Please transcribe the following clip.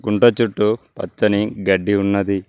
కుంట చుట్టూ పచ్చని గడ్డి ఉన్నది.